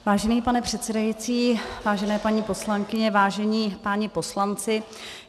Vážený pane předsedající, vážené paní poslankyně, vážení páni poslanci.